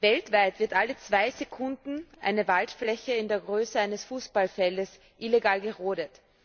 Weltweit wird alle zwei Sekunden eine Waldfläche in der Größe eines Fußballfelds illegal gerodet.